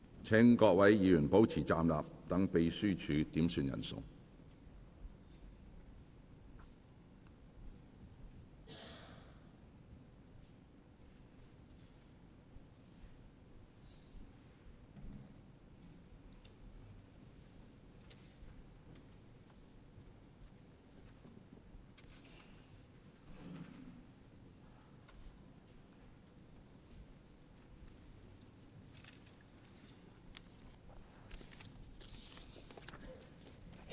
請議員保持站立，讓秘書點算人數。